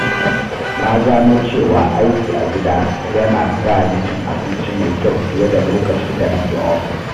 Na gano cewa aiki a gida yana sa ni cin abinci mai kyau fiye da lokacin da nake ofis